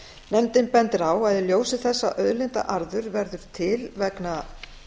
nefndin bendir á að í ljósi þess að auðlindaarður verður til vegna